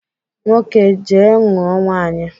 Nwoke jee nụọ nwaanyị!